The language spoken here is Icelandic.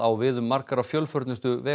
við um margar af fjölförnustu